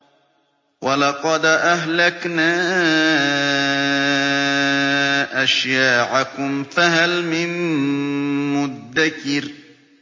وَلَقَدْ أَهْلَكْنَا أَشْيَاعَكُمْ فَهَلْ مِن مُّدَّكِرٍ